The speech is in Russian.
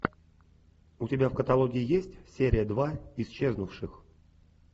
у тебя в каталоге есть серия два исчезнувших